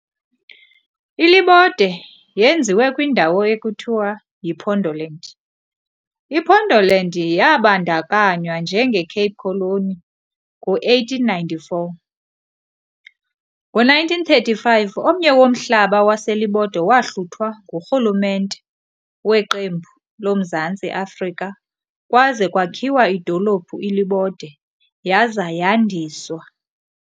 iLibode yenziwe kwindawo ekuthiwa yiPondoland, iPondoland yabandakanywa njengeCape Colony ngo1894. Ngo 1935 omnye womhlaba waselibode wahluthwa ngurhulumente weqembu loMzantsi Afrika kwaze kwakhiwa idolophu iLibode yaza yandiswa.